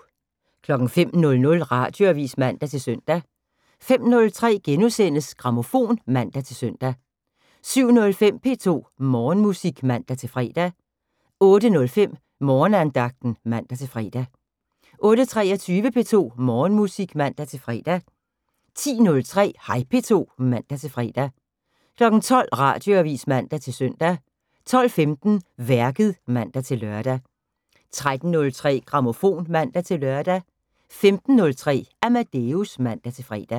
05:00: Radioavis (man-søn) 05:03: Grammofon *(man-søn) 07:05: P2 Morgenmusik (man-fre) 08:05: Morgenandagten (man-fre) 08:23: P2 Morgenmusik (man-fre) 10:03: Hej P2 (man-fre) 12:00: Radioavis (man-søn) 12:15: Værket (man-lør) 13:03: Grammofon (man-lør) 15:03: Amadeus (man-fre)